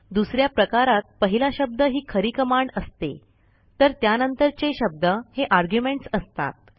दुस या प्रकारात पहिला शब्द ही खरी कमांड असते तर त्यानंतरचे शब्द हे आर्ग्युमेंट्स असतात